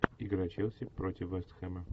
игра челси против вест хэма